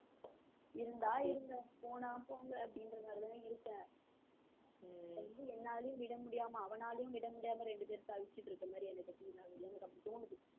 இருந்தா இருங்க போனா போங்க அப்படிங்குற மாதிரிதான் இருக்கேன், என்னாலயும் விட முடியாம அவனாலயும் விட முடியாம ரெண்டு பேரும் தவிச்சுட்டிருக்குற மாதிரி எனக்கு அப்படி தோணுது